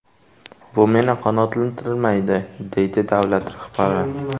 Bu meni qanoatlantirmaydi”, deydi davlat rahbari.